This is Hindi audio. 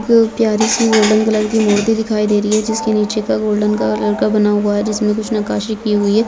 एक प्यारी सी गोल्डन कलर का मूर्ति दिखी दे रही है जिसके नीचे का गोल्डन कलर का बना हुआ है जिस में कुछ नक्कासी की हुई है।